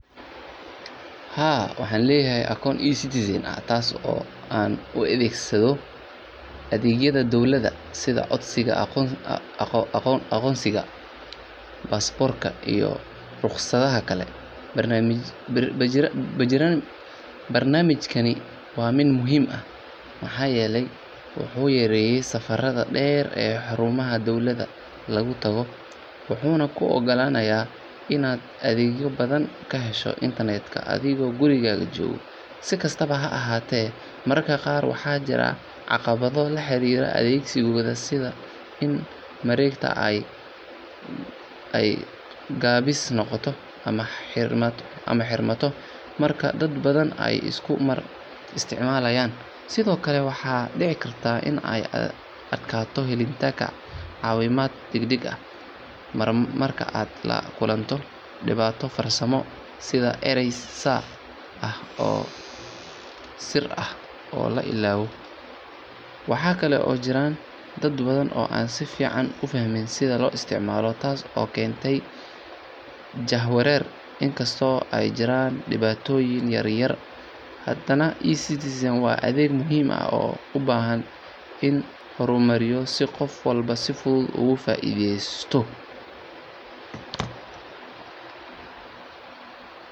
Haa waxaleeyahay account I siteezeen an u athegsadoh athegyada dowlada coodika aqoonsika passport kor iyo ruqsathakali barnamijyada, barnamijkani wa mid muhim aah waxayeelay waxu yareyay safarada dheer iyo xeerumaha dowlad lagu tagoh waxuna ku ogalanaya Ina athegyo bathan kaheshoh internet ka adigo guurikaga jokoh si kastabo maraka qaar waxajirah caqabado la xariroh athegsika setha wareegta ay kabis noqotoh amah xermatoh marka dad bathan Aya isku mar isticmalaan, sethokali waxadici kartah Ina adgathoh helitanga cawinaat dagdag mar mar ka lagulantoh dibato farsamo setha aray sir aah oo la ilawo, waxkali oo jiran dad bathan oo sifican ah u fahmin setha lo isticmaloh taso keentay jahwarer inkasto oo aa jiran diwatooyin yaryar handanah ecitizen wa adeg muhim aah oo u bahan inu hormariyih si qoof walba si futhut ugu faitheystoh.